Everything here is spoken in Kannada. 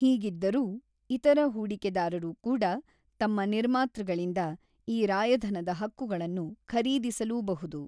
ಹೀಗಿದ್ದರೂ, ಇತರ ಹೂಡಿಕೆದಾರರು ಕೂಡಾ ತಮ್ಮ ನಿರ್ಮಾತೃಗಳಿಂದ ಈ ರಾಯಧನದ ಹಕ್ಕುಗಳನ್ನು ಖರೀದಿಸಲೂಬಹುದು.